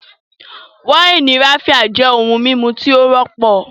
wáìnì Raphia jẹ ohun mímu tí ó wọ́pọ̀